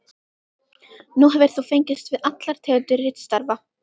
Nú hefur þú fengist við allar tegundir ritstarfa.